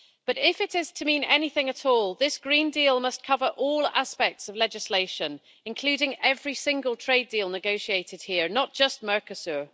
But if it is to mean anything at all, this green deal must cover all aspects of legislation, including every single trade deal negotiated here not just Mercosur.